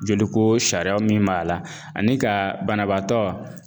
Joli ko sariya min b'a la ani ka banabaatɔ